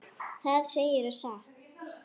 Það segirðu satt.